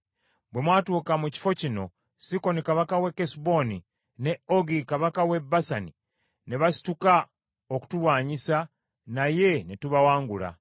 Bwe mwatuuka mu kifo kino, Sikoni kabaka w’e Kesuboni, ne Ogi kabaka w’e Basani, ne basituka okutulwanyisa, naye ne tubawangula.